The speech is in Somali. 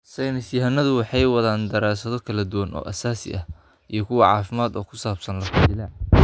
Saynis yahanadu waxa ay wadaan daraasado kala duwan oo aasaasi ah iyo kuwo caafimaad oo ku saabsan lafo-jileeca.